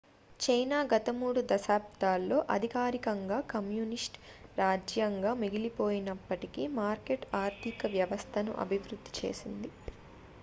China గత మూడు దశాబ్దాల్లో అధికారికంగా కమ్యూనిస్టు రాజ్యంగా మిగిలిపోయినప్పటికీ మార్కెట్ ఆర్థిక వ్యవస్థను అభివృద్ధి చేసింది